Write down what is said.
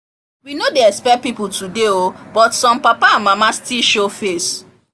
we no dey expect people today o but some papa and mama still show face